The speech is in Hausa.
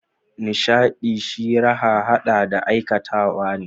Nishadi shi raha hade da aikatawa ne.